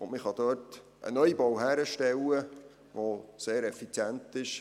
Man kann dort einen Neubau hinstellen, der sehr effizient ist.